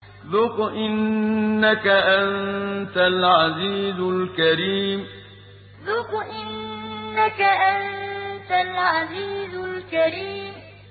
ذُقْ إِنَّكَ أَنتَ الْعَزِيزُ الْكَرِيمُ ذُقْ إِنَّكَ أَنتَ الْعَزِيزُ الْكَرِيمُ